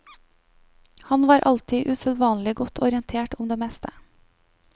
Han var alltid usedvanlig godt orientert om det meste.